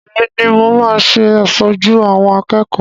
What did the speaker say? Èmi ni mo máa ṣe aṣojú àwọn akẹ́kọ̀ọ́.